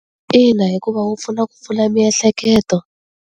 Ina hikuva wu pfuna ku pfula miehleketo.